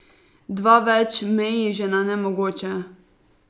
Dva več meji že na nemogoče.